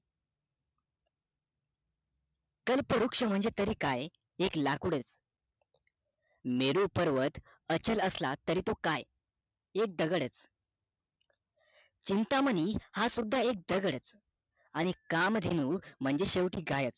कल्पवृक्ष म्हणजे काय ते तरी एक लाकूडच मेरू पर्वत अचल असला तरी तो काय एक दगड चिंतामणी हा सुद्धा एक दगड आणि काम धेनु म्हणजे शेवटी एक गाय च